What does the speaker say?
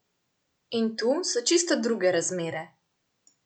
In tu so čisto druge razmere.